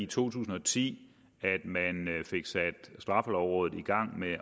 tusind og ti at man fik sat straffelovrådet i gang med